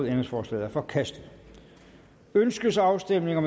ændringsforslaget er forkastet ønskes afstemning